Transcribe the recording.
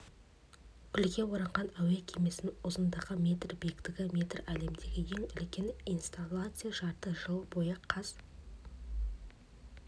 гүлге оранған әуе кемесінің ұзындағы метр биіктігі метр әлемдегі ең үлкен инсталляция жарты жыл бойы қаз